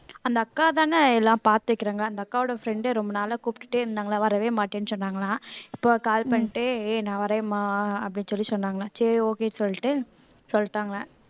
அந்த அக்காதானே எல்லாம் பார்த்திருக்காங்க அந்த அக்காவோட friend அ ரொம்ப நாளா கூப்பிட்டுட்டே இருந்தாங்களாம் வரவே மாட்டேன்னு சொன்னாங்களாம் இப்போ call பண்ணிட்டு ஏய் நான் வரேன்மா அப்படின்னு சொல்லி சொன்னாங்க சரி okay சொல்லிட்டு சொல்லிட்டாங்க